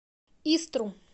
истру